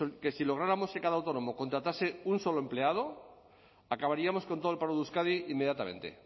que si lográramos que cada autónomo contratase un solo empleado acabaríamos con todo el paro de euskadi inmediatamente